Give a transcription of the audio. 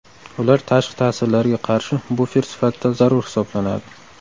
Ular tashqi ta’sirlarga qarshi bufer sifatida zarur hisoblanadi.